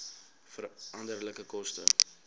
veranderlike koste